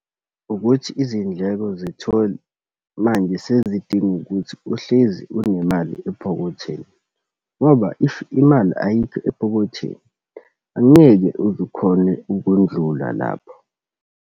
Ukuthi izindleko zetholi manje sezidinga ukuthi uhlezi unemali ephokothweni. Ngoba, if imali ayikho ephokothweni, angeke uze ukhone ukundlula lapho.